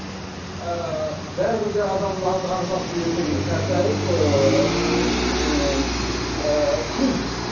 ііі бәрібір де адамның ағзасы ертең қартайып ііі ыыы құриды